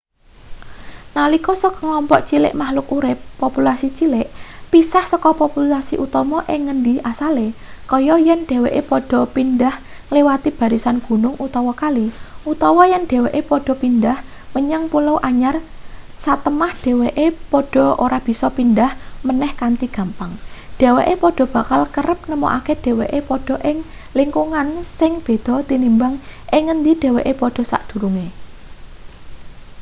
nalika sekelompok cilik makhluk urip populasi cilik pisah seka populasi utama ing ngendi asale kaya yen dheweke padha pindhah ngliwati barisan gunung utawa kali utawa yen dheweke padha pindhah menyang pulau anyar satemah dheweke padha ora bisa pindhah meneh kanthi gampang dheweke padha bakal kerep nemokake dheweke padha ing lingkungan sing beda tinimbang ing ngendi dheweke padha sadurunge